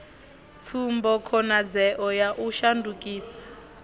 tsumbo khonadzeo ya u shandukisa